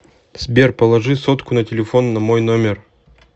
сбер положи сотку на телефон на мой номер